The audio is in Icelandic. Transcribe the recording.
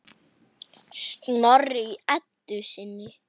Snorri í Eddu sinni.